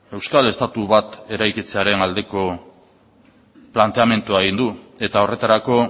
euskal estatu bat eraikitzearen aldeko planteamendua egin du eta horretarako